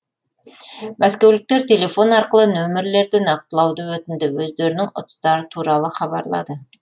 мәскеуліктер телефон арқылы нөмірлерді нақтылауды өтінді өздерінің ұтыстары туралы хабарлады